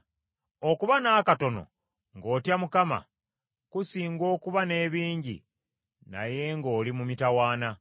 Okuba n’akatono ng’otya Mukama , kusinga okuba n’ebingi naye ng’oli mu mitawaana.